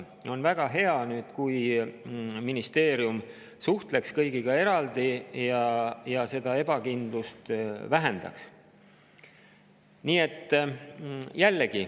On väga hea, kui ministeerium suhtleks kõigiga eraldi ja seda ebakindlust vähendaks.